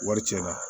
Wari cɛn na